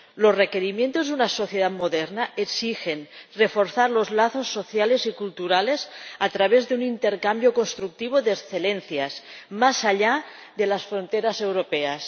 Los requerimientos de una sociedad moderna exigen reforzar los lazos sociales y culturales a través de un intercambio constructivo de excelencias más allá de las fronteras europeas.